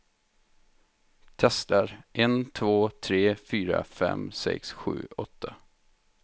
Testar en två tre fyra fem sex sju åtta.